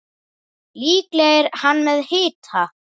Líklega er hann með hita.